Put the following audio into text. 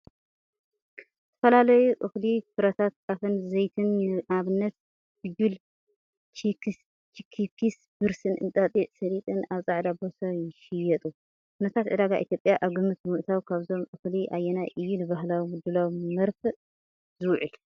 ዝተፈላለዩ እኽሊ፡ ፍረታት ጣፍን ዘይቲን (ንኣብነት ፋጁል፡ ቺክፒስ፡ ብርስን፣ እንጣጢዕ፡ ሰሊጥን) ኣብ ጻዕዳ ቦርሳ ይሽየጡ። ኩነታት ዕዳጋ ኢትዮጵያ ኣብ ግምት ብምእታው ካብዞም እኽሊ ኣየናይ እዩ ንባህላዊ ምድላው መርፍእ ዝውዕል?